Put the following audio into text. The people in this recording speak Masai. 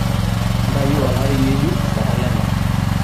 ntayu olari ngejuk te kalenda